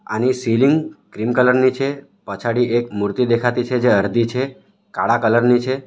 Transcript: આની ceiling green colour ની છે પાછાડી એક મૂર્તિ દેખાતી છે જે અરધી છે કાળા કલર ની છે.